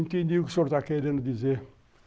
Entendi o que o senhor está querendo dizer.